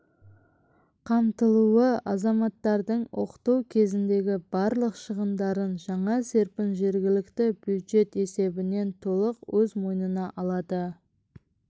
қамтылуы азаматтардың оқыту кезіндегі барлық шығындарын жаңа серпін жергілікті бюджет есебінен толық өз мойнына алады